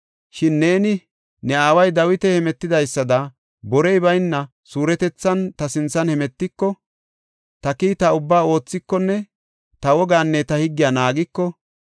Shin neeni ne aaway Dawiti hemetidaysada borey bayna suuretethan ta sinthan hemetiko, ta kiita ubbaa oothikonne ta wogaanne ta higgiya naagiko,